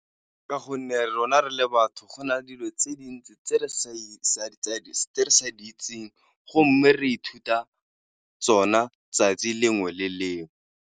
Ka gonne rona re le batho gona dilo tse dintsi tse re sa di itseng go mme re ithuta tsona tsatsi lengwe le lengwe.